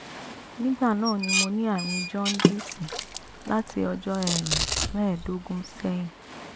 nígbà náà mo ní àrùn jaundice láti ọjọ́ um mẹ́ẹ̀ẹ́dógún sẹ́yìn